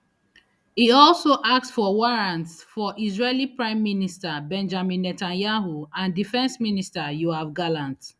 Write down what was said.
e also ask for warrants for israeli prime minister benjamin netanyahu and defence minister yoav gallant